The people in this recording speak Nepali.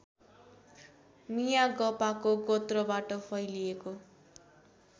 मियागपाको गोत्रबाट फैलिएको